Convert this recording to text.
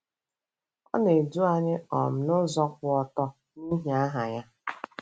Ọ na-edu anyị um n'ụzọ kwụ ọtọ, n'ihi aha ya.